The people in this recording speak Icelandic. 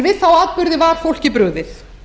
við þá atburði var fólki brugðið